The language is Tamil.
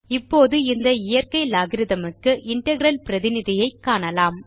இப்போது இந்த இயற்கை லோகரித்ம் க்கு இன்டெக்ரல் பிரதிநிதியை காணலாம்